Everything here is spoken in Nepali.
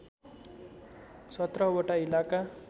१७ वटा इलाका